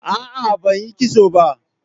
Aa, banyi kitson ba.